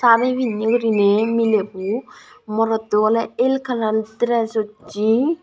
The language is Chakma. sari pinney guriney milebo morotto oley el kalar deres ussey.